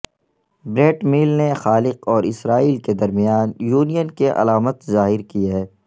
Brett میل نے خالق اور اسرائیل کے درمیان یونین کی علامت ظاہر کی ہے